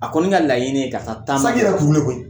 A kɔni ka laɲini ka taa taama na